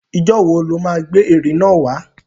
Ìjọ́ wo lọ má gbé ère náà wà?